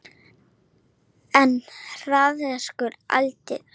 En harðneskjulegt andlit hennar horfir fram hjá mér.